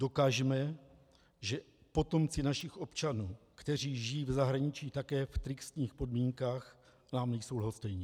Dokažme, že potomci našich občanů, kteří žijí v zahraničí také v tristních podmínkách, nám nejsou lhostejní.